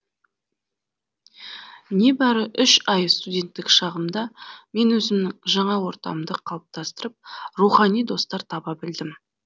небәрі үш ай студенттік шағымда мен өзімнің жаңа ортамды қалыптастырып рухани достар таба білдім